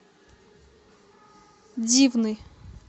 дивный